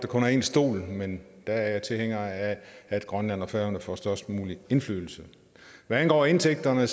kun er én stol men der er jeg tilhænger af at grønland og færøerne får størst mulig indflydelse hvad angår indtægterne